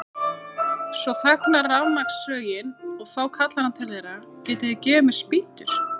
Svo þagnar rafmagnssögin og þá kallar hann til þeirra: Getið þið gefið mér spýtur?